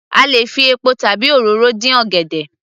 A lè fi epo tàbi òróró dín ọ̀gẹ̀dẹ̀